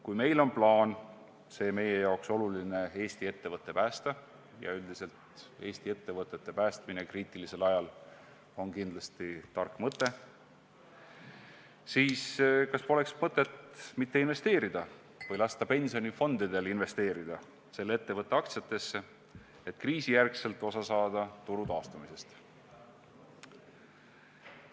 Kui meil on plaan see meie jaoks oluline Eesti ettevõte päästa – ja üldiselt on Eesti ettevõtete päästmine kriitilisel ajal kindlasti tark mõte –, siis kas poleks mõttekas lasta pensionifondidel investeerida selle ettevõtte aktsiatesse, et pärast kriisi osa saada turu taastumisest?